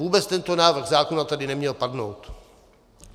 Vůbec tento návrh zákona tady neměl padnout.